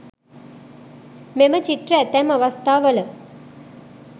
මෙම චිත්‍ර ඇතැම් අවස්ථාවල